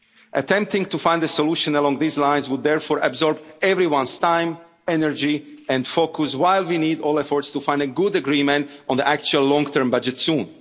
on the MFF. Attempting to find a solution along these lines would therefore absorb everyone's time, energy and focus, while we need all efforts to find a good agreement on the actual long term